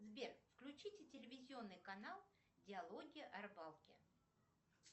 сбер включите телевизионный канал диалоги о рыбалке